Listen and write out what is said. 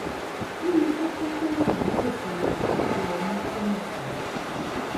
kí ni kókó tó wà nítòsí kókó ọmú túmọ̀ sí?